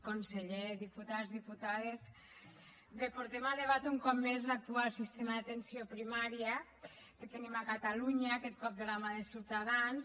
conseller diputats diputades bé portem a debat un cop més l’actual sistema d’atenció primària que tenim a catalunya aquest cop de la mà de ciutadans